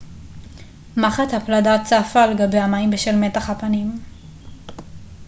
מחט הפלדה צפה על גבי המים בשל מתח הפנים